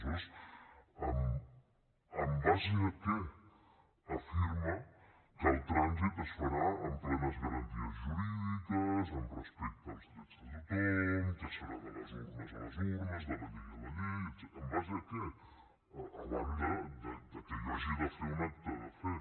aleshores en base a què afirma que el transit es farà amb plenes garanties jurídiques amb respecte als drets de tothom que serà de les urnes a les urnes de la llei a la llei etcètera en base a què a banda de que jo hagi de fer un acte de fe